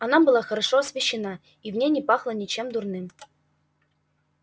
она была хорошо освещена и в ней не пахло ничем дурным